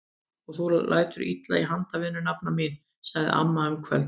Og þú lætur illa í handavinnu nafna mín! sagði amma um kvöldið.